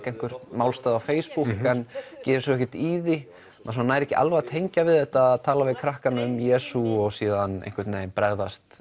einhvern málstað á Facebook en gerir svo ekkert í því maður nær ekki alveg að tengja við þetta að tala við krakkana um Jesú og síðan einhvern veginn bregðast